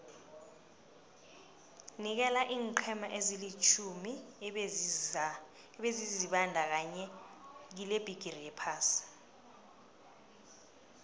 nikela iinqhema ezilitjhumi ebezizibandakanye kilebhigiri yephasi